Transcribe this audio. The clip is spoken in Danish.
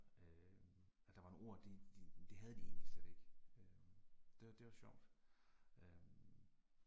Øh, at der var nogle ord det det det havde de egentlig slet ikke øh. Det det var sjovt øh